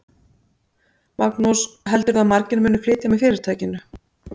Magnús: Heldurðu að margir muni flytja með fyrirtækinu?